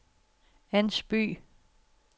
Ans By